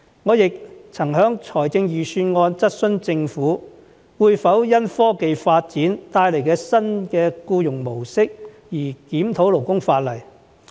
我亦曾在財政預算案辯論中質詢政府，會否因科技發展帶來的新僱傭模式而檢討勞工法例。